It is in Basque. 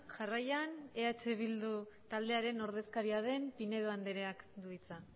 jarraian eh bildu taldearen ordezkaria den pinedo andreak du hitza